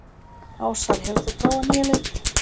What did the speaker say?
Ásar, hefur þú prófað nýja leikinn?